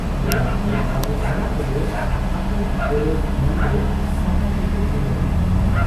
ᱪᱮᱫᱟᱜ ᱪᱤ ᱵᱟᱹᱵᱩ ᱵᱷᱟᱹᱭᱟᱹ ᱠᱚᱫᱚ ᱟᱠᱚᱣᱟᱜ ᱜᱚᱨᱚᱡᱽ ᱢᱟᱹᱱ ᱫᱚ ᱴᱟᱠᱟ ᱛᱮᱠᱚ ᱛᱩᱞᱟᱹᱭᱟ ᱾